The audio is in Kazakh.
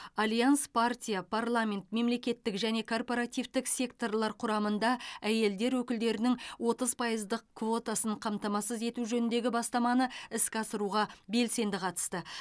альянс партия парламент мемлекеттік және корпоративтік секторлар құрамында әйелдер өкілдерінің отыз пайыздық квотасын қамтамасыз ету жөніндегі бастаманы іске асыруға белсенді қатысты